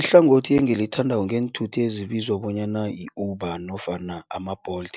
Ihlangothi engilithandako ngeenthuthi ezibizwa bonyana yi-Uber nofana ama-Bolt,